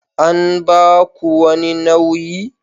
An ba ku wani nauyi?